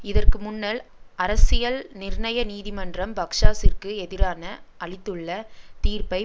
இதற்கு முன்னல் அரசியல் நிர்ணய நீதிமன்றம் பக்ஸாசிற்கு எதிரான அளித்துள்ள தீர்ப்பை